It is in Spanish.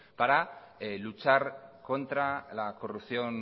para luchar contra la corrupción